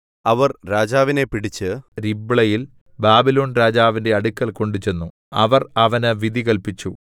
അവർ രാജാവിനെ പിടിച്ച് രിബ്ലയിൽ ബാബിലോൺരാജാവിന്റെ അടുക്കൽ കൊണ്ടുചെന്നു അവർ അവന് വിധി കല്പിച്ചു